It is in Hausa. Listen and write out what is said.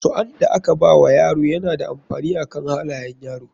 Suan da ka bawa yaro yana da amfani akan halayan yaro.